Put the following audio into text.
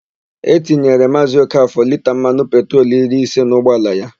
E tinyere Maazị Okafọ lita mmanụ petrolu iri ise n'ụgbaala ya.